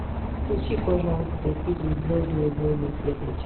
включи пожалуйста фильм звездные войны первая часть